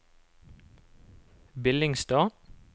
Billingstad